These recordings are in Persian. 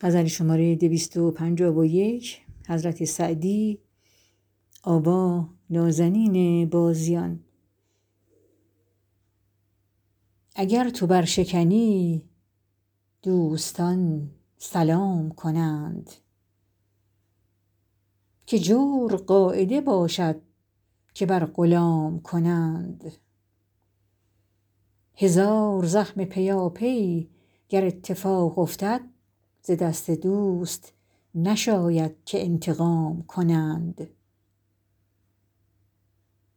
اگر تو برشکنی دوستان سلام کنند که جور قاعده باشد که بر غلام کنند هزار زخم پیاپی گر اتفاق افتد ز دست دوست نشاید که انتقام کنند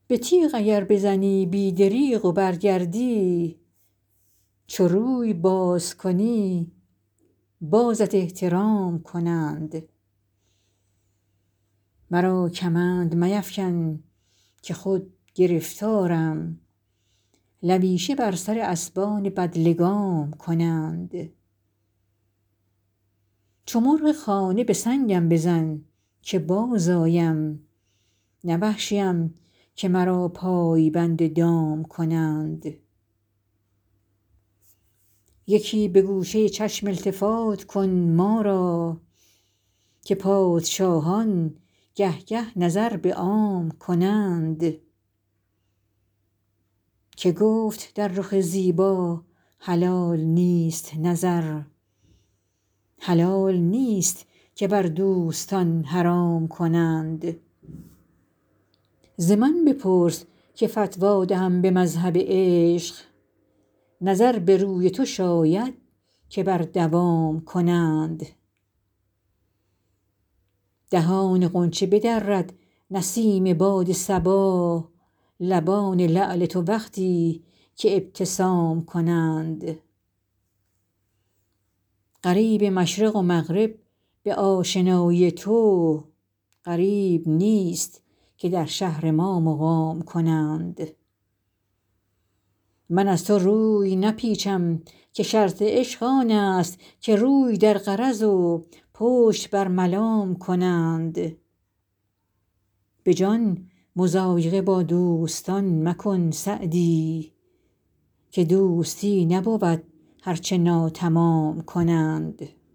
به تیغ اگر بزنی بی دریغ و برگردی چو روی باز کنی بازت احترام کنند مرا کمند میفکن که خود گرفتارم لویشه بر سر اسبان بدلگام کنند چو مرغ خانه به سنگم بزن که بازآیم نه وحشیم که مرا پای بند دام کنند یکی به گوشه چشم التفات کن ما را که پادشاهان گه گه نظر به عام کنند که گفت در رخ زیبا حلال نیست نظر حلال نیست که بر دوستان حرام کنند ز من بپرس که فتوی دهم به مذهب عشق نظر به روی تو شاید که بر دوام کنند دهان غنچه بدرد نسیم باد صبا لبان لعل تو وقتی که ابتسام کنند غریب مشرق و مغرب به آشنایی تو غریب نیست که در شهر ما مقام کنند من از تو روی نپیچم که شرط عشق آن است که روی در غرض و پشت بر ملام کنند به جان مضایقه با دوستان مکن سعدی که دوستی نبود هر چه ناتمام کنند